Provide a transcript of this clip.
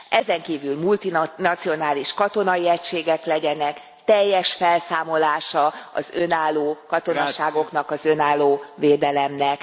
Ezenkívül multinacionális katonai egységek legyenek, teljes felszámolása az önálló katonaságoknak, az önálló védelemnek.